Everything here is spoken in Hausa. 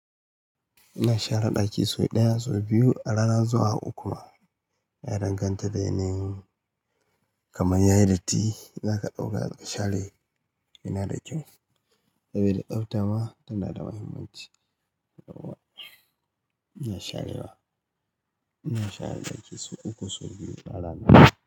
Ina share ɗaki sau ɗaya, sau biyu a rana zuwa uku. Na danganta da yanayin. Kamar yayi datti za ka ɗauka ka share. Yana da kyau. Saboda tsafta ma tana da muhimmanci. Nawa ina sharewa? Ina share ɗaki sau uku, sau biyu a rana.